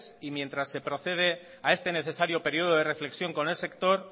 y mientras se procede a este necesario periodo de reflexión con el sector